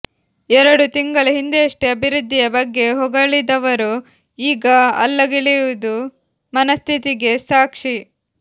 ಎರಡು ತಿಂಗಳ ಹಿಂದೆಯಷ್ಟೆ ಅಭಿವೃದ್ಧಿಯ ಬಗ್ಗೆ ಹೊಗಳಿದವರು ಈಗ ಅಲ್ಲಗಳೆಯುವುದು ಮನಸ್ಥಿತಿಗೆ ಸಾಕ್ಷಿ